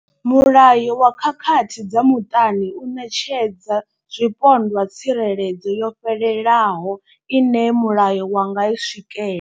Mulayo wa khakhathi dza muṱani u ṋetshedza zwipondwa tsireledzo yo fhelelaho ine mulayo wa nga i swikela.